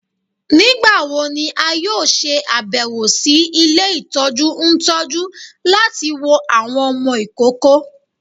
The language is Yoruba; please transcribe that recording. Nigbawo ni a yoo ṣe abẹwo si ile itọju ntọju lati wo awọn ọmọ ikoko?